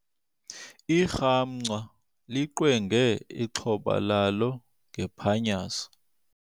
Irhamncwa liqwenge ixhoba lalo ngephanyazo.